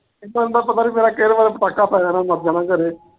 ਨੂੰ ਤਾਂ ਪਤਾ ਨੀ ਕਿਹੜੇ ਵੇਲੇ ਪਟਾਕਾ ਪੈ ਜਾਣਾ, ਮਰ ਜਾਣਾ ਘਰੇ।